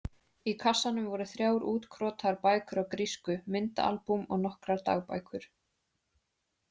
Í kassanum voru þrjár útkrotaðar bækur á grísku, myndaalbúm og nokkrar dagbækur.